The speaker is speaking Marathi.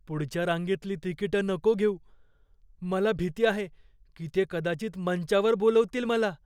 पुढच्या रांगेतली तिकीटं नको घेऊ. मला भीती आहे की ते कदाचित मंचावर बोलवतील मला.